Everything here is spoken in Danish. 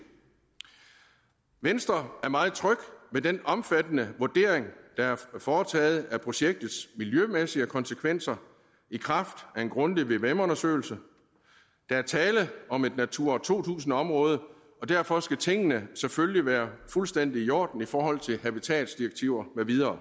venstre er meget tryg ved den omfattende vurdering der er foretaget af projektets miljømæssige konsekvenser i kraft af en grundig vvm undersøgelse der er tale om et natura to tusind område og derfor skal tingene selvfølgelig være fuldstændig i orden i forhold til habitatsdirektiver